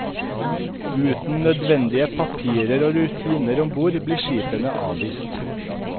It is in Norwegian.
Uten nødvendige papirer og rutiner om bord, blir skipene avvist.